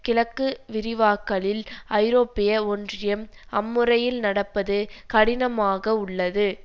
கிழக்கு விரிவாக்கலில் ஐரோப்பிய ஒன்றியம் அம்முறையில் நடப்பது கடினமாக உள்ளது